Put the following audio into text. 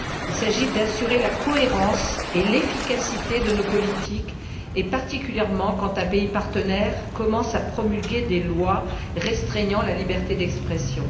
Il s'agit d'assurer la cohérence et l'efficacité de nos politiques, particulièrement quand un pays partenaire commence à promulguer des lois restreignant la liberté d'expression.